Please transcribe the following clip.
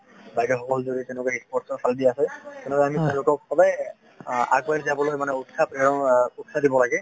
বাইদেউ সকল যদি তেনেকুৱা sports ৰ ফালে দি আছে তেওঁলোকক সদায় আগুৱাই যাবলৈ মানে উৎসাহ প্ৰেৰন উৎসাহ দিব লাগে।